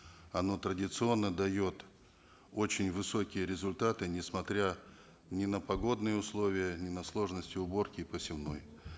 оно традиционно дает очень высокие результаты несмотря ни на погодные условия ни на сложности уборки и посевной